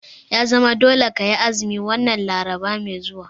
Ya zama dole kayi azumi wannan Larabar mai zuwa!